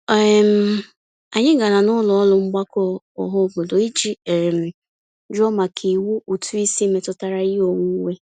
um Anyị gara n'ọnụụlọ mgbakọ ọhaobodo iji um jụọ maka iwu ụtụisi metụtara ihe onwunwe.